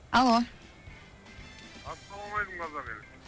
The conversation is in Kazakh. алло ассалаумалейкум қазақ елі